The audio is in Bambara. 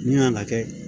Min kan ka kɛ